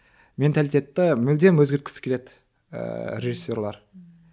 менталитетті мүлдем өзгерткісі келеді ііі режиссерлер ммм